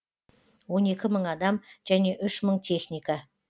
он екі мың адам және үш мың техника